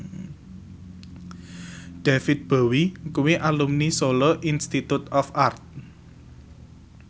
David Bowie kuwi alumni Solo Institute of Art